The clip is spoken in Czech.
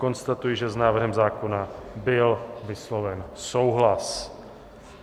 Konstatuji, že s návrhem zákona byl vysloven souhlas.